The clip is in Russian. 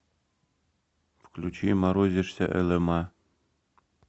включи морозишься элэма